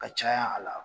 Ka caya a la